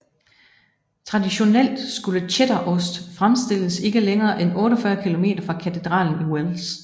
Traditionelt skulle cheddarost fremstilles ikke længere end 48 km fra katedralen i Wells